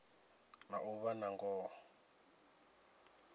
na u vha na ngoho